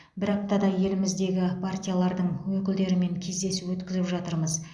бір аптада еліміздегі партиялардың өкілдерімен кездесу өткізіп жатырмыз